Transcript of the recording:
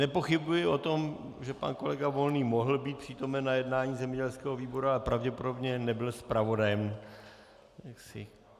Nepochybuji o tom, že pan kolega Volný mohl být přítomen na jednání zemědělského výboru, ale pravděpodobně nebyl zpravodajem.